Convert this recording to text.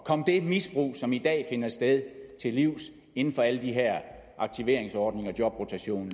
komme det misbrug som i dag finder sted til livs inden for alle de her aktiveringsordninger jobrotation